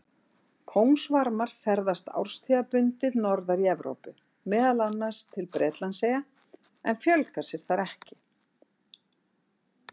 Kóngasvarmar ferðast árstíðabundið norðar í Evrópu, meðal annars til Bretlandseyja, en fjölga sér þar ekki.